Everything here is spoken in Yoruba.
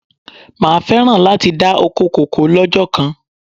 Máa féràn láti dá ọkọ kòkó lọ́jọ́ kan.